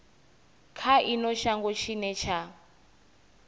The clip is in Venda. kha ino shango tshine tsha